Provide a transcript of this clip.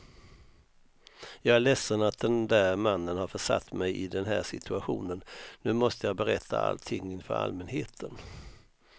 Jag är ledsen att den där mannen har försatt mig i den här situationen, nu måste jag berätta allting inför allmänheten.